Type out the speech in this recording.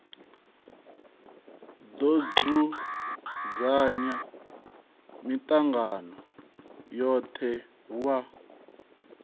do dzudzanya mitangano yothe wa